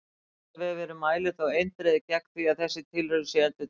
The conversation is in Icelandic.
Vísindavefurinn mælir þó eindregið gegn því að þessi tilraun sé endurtekin!